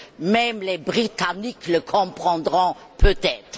Même les Britanniques le comprendront peut être!